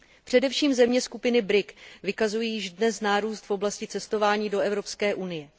Především země skupiny BRIC vykazují již dnes nárůst v oblasti cestování do Evropské unie.